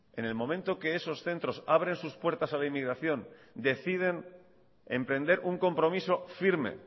en el momento que esos centros abren sus puertas a la inmigración deciden emprender un compromiso firme